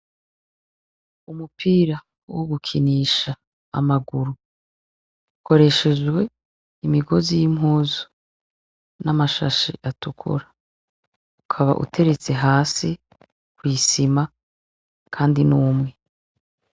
Umupira wo gukinisha amaguru ukoreshejwe imigozi y'impuzu n'amashashe atukura ukaba uteretse hasi kw'isima, kandi n'umwe.